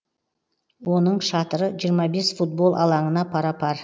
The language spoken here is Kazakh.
оның шатыры жиырма бес футбол алаңына пара пар